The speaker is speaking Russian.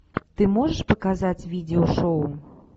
ты можешь показать видео шоу